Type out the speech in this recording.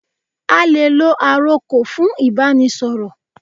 A lè lo àrokò fún Ìbánisọ̀rọ̀